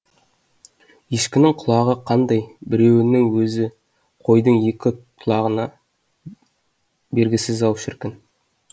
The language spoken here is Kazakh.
ешкінің құлағы қандай біреуінің өзі қойдың екі құлағына бергісіз ау шіркін